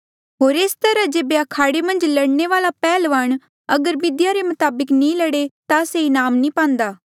होर एस तरहा जेबे अखाड़े मन्झ लड़ने वाल्आ पैहल्वान अगर बिधिया रे मताबक नी लड़े ता से इनाम नी पांदा